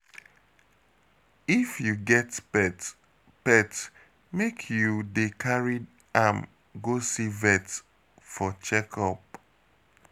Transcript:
If you get pet, pet, make you dey carry am go see vet for check-up.